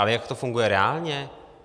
Ale jak to funguje reálně?